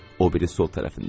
O biri sol tərəfində.